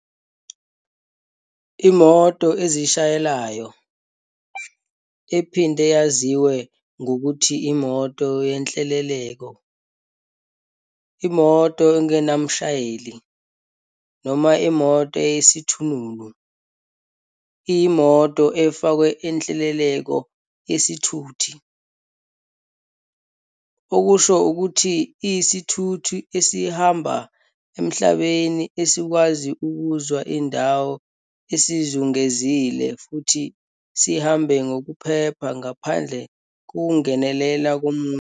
IMoto ezishayelayo, ephinde yaziwe ngokuthi imoto yenhleleleko, imoto engenamshayeli, noma imoto eyisithununu, iyimoto efakwe inhleleleko yesithuthi, okusho ukuthi iyisithuthi esihamba emhlabeni esikwazi ukuzwa indawo esizungezile futhi sihambe ngokuphepha ngaphandle kokungenelela komuntu.